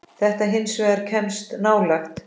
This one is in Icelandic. Þetta hins vegar kemst nálægt.